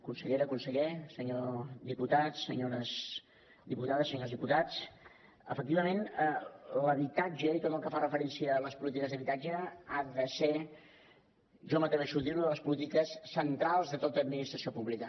consellera conseller senyor diputat senyores diputades senyors diputats efectivament l’habitatge i tot el que fa referència a les polítiques d’habitatge ha de ser jo m’atreveixo a dir una de les polítiques centrals de tota administració pública